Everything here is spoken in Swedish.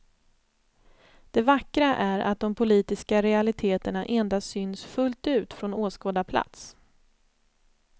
Det vackra är att de politiska realiteterna endast syns fullt ut från åskådarplats.